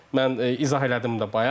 Mən izah elədim də bayaq.